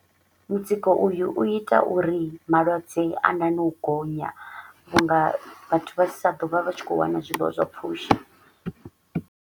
Mutsiko uyu u ita uri malwadze a nane u gonya vhu nga vhathu vha sa ḓo vha vha tshi kho u wana zwiḽiwa zwa pfushi.